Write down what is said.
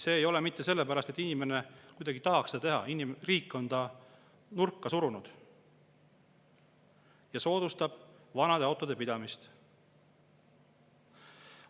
See ei ole mitte sellepärast, et inimene kuidagi tahaks seda teha, vaid sest riik on ta nurka surunud ja soodustab vanade autode pidamist.